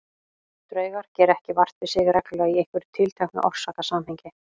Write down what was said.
Draugar gera ekki vart við sig reglulega í einhverju tilteknu orsakasamhengi.